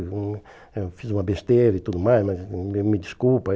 Eu fiz uma besteira e tudo mais, mas me me desculpa.